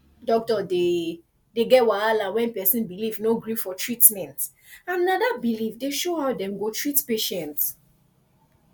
doctor dey dey get wahala when person belief no gree for treatment and na that belief dey show how dem go treat patient